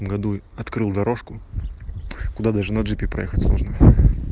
году открыл дорожку куда даже на джипе проехать можно